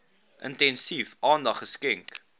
intensief aandag geskenk